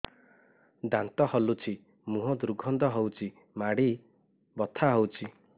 ଦାନ୍ତ ହଲୁଛି ମୁହଁ ଦୁର୍ଗନ୍ଧ ହଉଚି ମାଢି ବଥା ହଉଚି